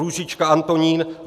Růžička Antonín